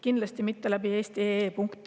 Kindlasti mitte eesti.ee kaudu.